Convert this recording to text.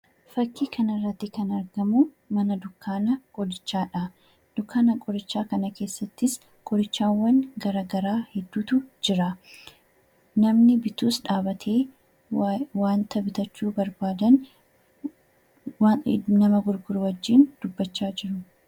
Fakkii kana irratti kan argamu mana dukkaana qorichaadha. Dukkaana qorichaa kana keessattis qorichawwan gara garaa hedduutu jira. Namni bitus dhaabatee waanta bituu barbaadu nama gurguru wajjin dubbachaa jiru.